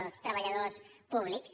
els treballadors públics